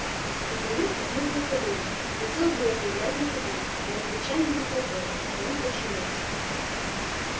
изумруд обнюхал кобылу и хотел было заиграть на ходу но англичанин не позволил и он подчинился